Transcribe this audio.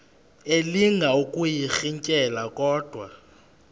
elinga ukuyirintyela kodwa